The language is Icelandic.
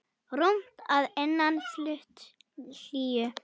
Rúmt að innan, fullt hlýju.